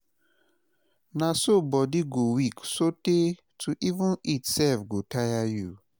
na so bodi go weak sotay to even eat sef go taya yu